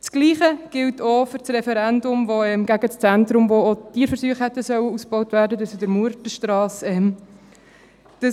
Dasselbe gilt auch für das Referendum, welches gegen das Zentrum an der Murtenstrasse, wo auch die Tierversuche hätten ausgebaut werden sollen, ergriffen wurde.